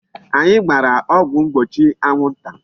Anyị gbara ọgwụ mgbochi anwụ nta.